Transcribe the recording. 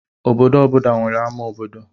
Obodo ọ bụla nwere ama obodo